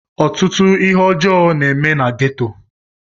Ọtụtụ ihe ọjọ na eme na ghetto.